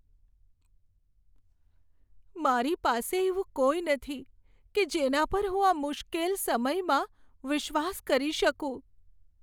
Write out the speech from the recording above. મારી પાસે એવું કોઈ નથી કે જેના પર હું આ મુશ્કેલ સમયમાં વિશ્વાસ કરી શકું.